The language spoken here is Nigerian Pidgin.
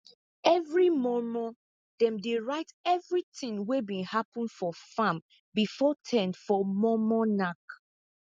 everi mor mor dem dey write everithing wey bin happen for farm before ten for mor mor nack